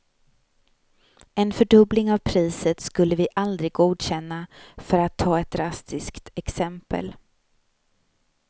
En fördubbling av priset skulle vi aldrig godkänna, för att ta ett drastiskt exempel.